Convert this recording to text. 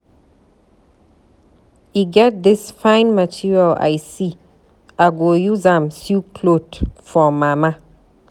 E get dis fine material I see. I go use am sew cloth for mama.